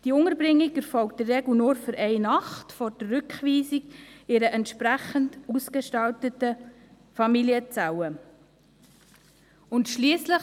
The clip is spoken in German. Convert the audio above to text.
Die Unterbringung erfolgt in der Regel in einer entsprechend ausgestalteten Familienzelle nur für eine Nacht vor der Rückweisung.